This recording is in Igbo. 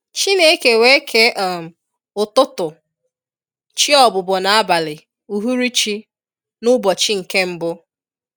Chineke wee kee um ụ́tụ̀tụ̀ /chi ọ̀bụ́bọ̀ na abalị/ụhụ̀rụ̀chi n’ ụbọchi nke mbu.\n